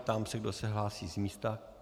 Ptám se, kdo se hlásí z místa.